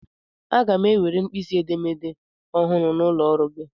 Aga m ewere mkpisi edemede ọhụrụ n'ụlọ ọrụ gị.